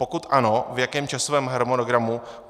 Pokud ano, v jakém časovém harmonogramu?